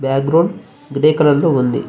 Back ground grey colour లో ఉంది.